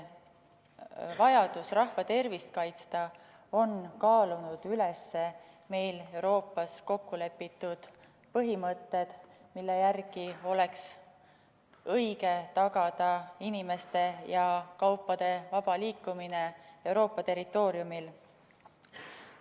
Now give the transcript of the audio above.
Vajadus rahva tervist kaitsta on kaalunud üles meil Euroopas kokkulepitud põhimõtted, mille järgi oleks õige tagada inimeste ja kaupade vaba liikumine Euroopa territooriumil.